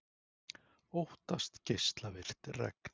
Óttast geislavirkt regn